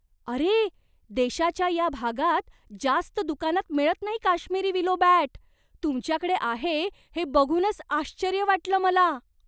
अरे! देशाच्या या भागात जास्त दुकानात मिळत नाही काश्मिरी विलो बॅट. तुमच्याकडे आहे हे बघूनच आश्चर्य वाटलं मला.